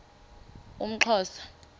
umxhosa